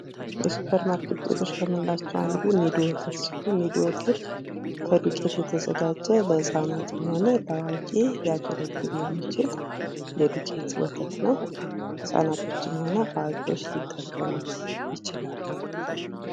የሱፐር ማርኬት ውጤቶች ከምንላቸው አንዱ የኒዶ ወተት ሲሆን ኒዶ ወተት ከዱቄት የተዘጋጀ ለህፃናትም ሆነ ለአዋቂ ሊያገለግል የሚችል የዱቄት ወተት ነው ።ህፃናትም ሆነ አዋቂዎች ይጠቀሙበታል።